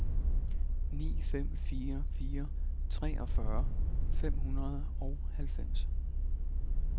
ni fem fire fire treogfyrre fem hundrede og halvfems